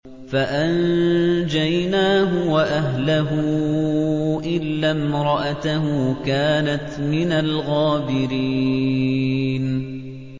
فَأَنجَيْنَاهُ وَأَهْلَهُ إِلَّا امْرَأَتَهُ كَانَتْ مِنَ الْغَابِرِينَ